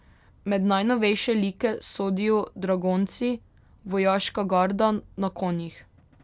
Med najnovejše like sodijo dragonci, vojaška garda na konjih.